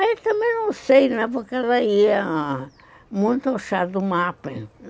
Aí também não sei, porque ela ia muito ao chá do mapre.